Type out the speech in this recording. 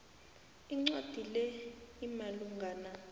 incwadi le imalungana